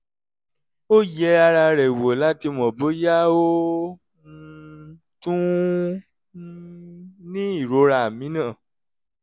ó yẹ ara rẹ̀ wò láti mọ̀ bóyá ó um tún um ní ìrora mìíràn